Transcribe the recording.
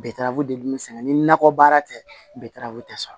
Bɛtaraw de bɛ sɛnɛ ni nakɔ baara tɛ bɛra tɛ sɔrɔ